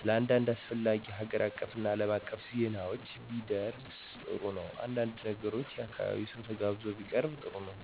ስለአንዳድ አስፈላጊ ሀገር አቀፍና አለም አቀፍ ዜናዎች ቢደር ጥሩ ነው። አንዳንድ ነገሮች የአካባቢው ሰው ተጋብዞ ቢያቀርብ ጥሩ ነው።